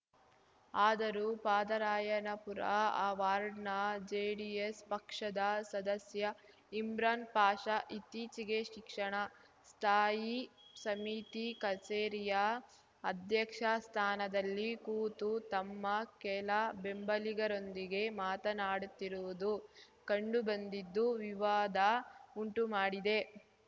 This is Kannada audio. ಆದರೂ ಪಾದರಾಯನಪುರ ಆ ವಾರ್ಡ್‌ನ ಜೆಡಿಎಸ್‌ ಪಕ್ಷದ ಸದಸ್ಯ ಇಮ್ರಾನ್‌ ಪಾಷಾ ಇತ್ತೀಚಿಗೆ ಶಿಕ್ಷಣ ಸ್ಥಾಯಿ ಸಮಿತಿ ಕಚೇರಿಯ ಅಧ್ಯಕ್ಷ ಸ್ಥಾನದಲ್ಲಿ ಕೂತು ತಮ್ಮ ಕೆಲ ಬೆಂಬಲಿಗರೊಂದಿಗೆ ಮಾತನಾಡುತ್ತಿರುವುದು ಕಂಡುಬಂದಿದ್ದು ವಿವಾದ ಉಂಟು ಮಾಡಿದೆ